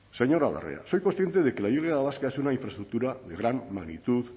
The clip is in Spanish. señora larrea soy consciente de que la y vasca es una infraestructura de gran magnitud